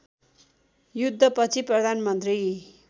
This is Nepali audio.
युद्ध पछि प्रधानमन्त्री